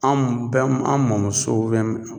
Anw bɛn an' mɔmuso